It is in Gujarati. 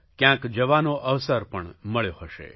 કયાંક જવાનો અવસર પણ મળ્યો હશે